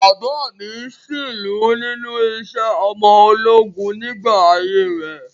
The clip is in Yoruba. Bàbáà mi sìnlú nínú iṣẹ́ ọmọ ológun nígbà ayé rẹ̀.